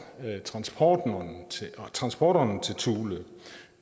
transporterne transporterne til thule